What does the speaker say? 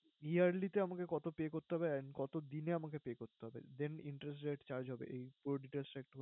Yearly তে আমাকে কতো pay করতে হবে? and কতোদিনে আমাকে pay করতে হবে? then interest rate charged হবে এই পুরো details টা একটু